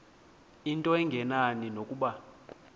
into engenani nokuba